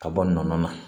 Ka bɔ nɔnɔ na